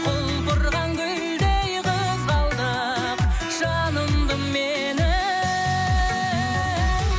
құлпырған гүлдей қызғалдақ жанымды менің